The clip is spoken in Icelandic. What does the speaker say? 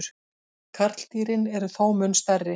Karldýrin eru þó mun stærri.